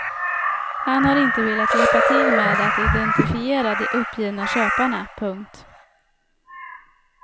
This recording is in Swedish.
Han har inte velat hjälpa till med att identifiera de uppgivna köparna. punkt